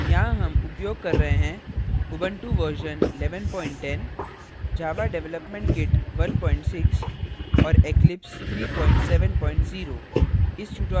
यहाँ हम उपयोग कर रहे हैं